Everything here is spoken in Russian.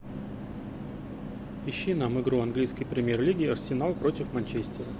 ищи нам игру английской премьер лиги арсенал против манчестера